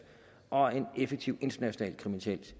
og en effektiv international